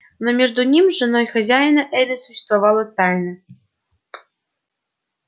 но между ним и женой хозяина элис существовала тайна